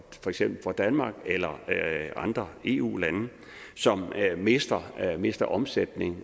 eksempel for danmark eller andre eu lande som mister mister omsætning